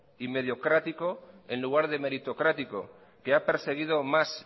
y mediocrático en lugar de meritocrático que ha perseguido más